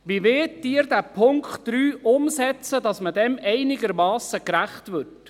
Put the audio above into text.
Wie wollen Sie diesen Punkt 3 umsetzen, damit man dem einigermassen gerecht wird?